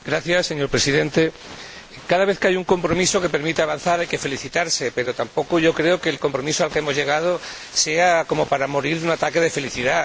Señor Presidente, cada vez que hay un compromiso que permite avanzar hay que felicitarse, pero tampoco creo que el compromiso al que hemos llegado sea como para morir de un ataque de felicidad.